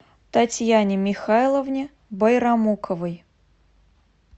татьяне михайловне байрамуковой